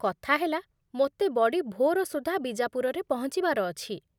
କଥା ହେଲା, ମୋତେ ବଡ଼ି ଭୋର ସୁଦ୍ଧା ବିଜାପୁରରେ ପହଞ୍ଚିବାର ଅଛି ।